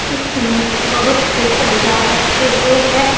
इसमें बहुत से औजार रखे हुए हैं।